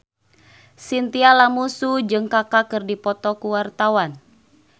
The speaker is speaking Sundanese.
Chintya Lamusu jeung Kaka keur dipoto ku wartawan